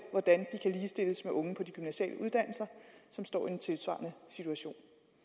hvordan de kan ligestilles med unge på de gymnasiale uddannelser og som står i en tilsvarende situation